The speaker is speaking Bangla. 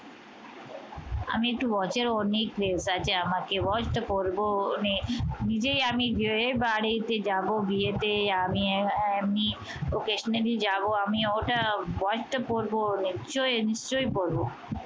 আমি একটু watch এর অনেক craze আছে। আমাকে watch টা পড়বো মানে নিজেই আমি বিরে বাড়িতে যাব বিয়েতে আমি এমনি occasionally যাব আমি ওটা watch টা পরবো নিশ্চয়ই নিশ্চয়ই পরবো।